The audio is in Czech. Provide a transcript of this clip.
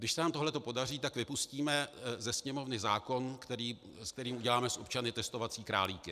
Když se nám tohle podaří, tak vypustíme ze Sněmovny zákon, kterým uděláme z občanů testovací králíky.